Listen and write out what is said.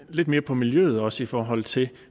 lidt mere på miljøet også i forhold til